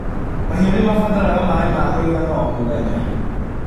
Mahiũ nĩmabataraga maĩ makũigana o mũthenya.